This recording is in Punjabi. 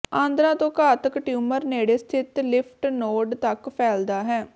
ਆਂਦਰਾਂ ਤੋਂ ਘਾਤਕ ਟਿਊਮਰ ਨੇੜੇ ਸਥਿਤ ਲਿਫਟ ਨੋਡ ਤੱਕ ਫੈਲਦਾ ਹੈ